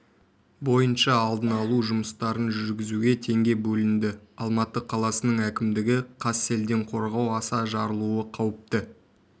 бойынша алдын алу жұмыстарын жүргізуге теңге бөлінді алматы қаласының әкімдігі қазселденқорғау аса жарылуы қауіпті